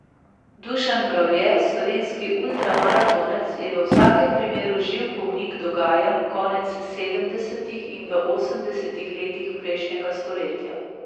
Dušan Mravlje, slovenski ultramaratonec, je v vsakem primeru živ pomnik dogajanj konec sedemdesetih in v osemdesetih letih prejšnjega stoletja.